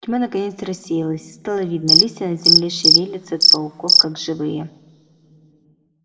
тьма наконец рассеялась и стало видно листья на земле шевелятся от пауков как живые